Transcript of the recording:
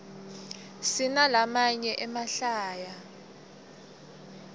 sinalamaye emahlaya